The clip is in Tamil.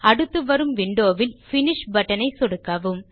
அடுத்து வரும் விண்டோ வில் பினிஷ் பட்டன் ஐ சொடுக்கவும்